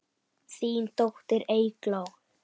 Þín dóttir, Eygló.